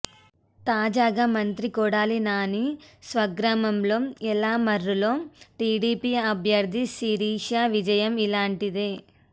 తాజాగా మంత్రి కొడాలి నాని స్వగ్రామం యలమర్రులో టీడీపీ అభ్యర్ది శిరీష విజయం ఇలాంటిదే